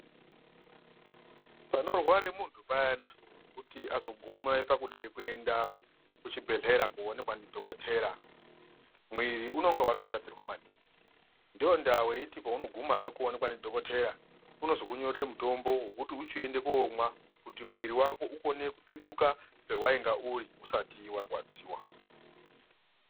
Panorware muntu payana kuti azogume pakude kuenda kuchibhedhlera kuonekwa ndidhokotera mwiri unonga watoshatirwa maningi ndondaa weiti paunogumayo kuonekwa ndidhokotera unozokunyorere mutombo wekuti uchiende komwa kuti mwiri wako ukone kupetuka pewaunga uri usati warwadziwa.